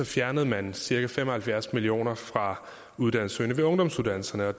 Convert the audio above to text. fjernede man cirka fem og halvfjerds million kroner fra uddannelsessøgende ved ungdomsuddannelserne